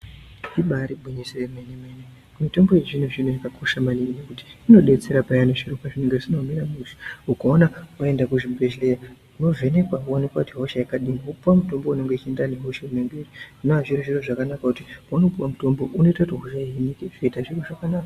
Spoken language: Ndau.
Ibari gwinyiso yemene mene mitombo yechizvino zvino yamakosha maningi ngekuti inodetsera payani zviro pazvinenga zvisjna kumira mushe ukaona waenda kuzvibhedhleya unovhenekwa woonekwa kuti ihosha yakadini wopuwa mutombo unoenderana nehosha inenga iri zvinowa zviri zviro zvakanaka kuti paunopiwa mutombo unoita kuti hosha ihinika zvoita zviro zvakanaka.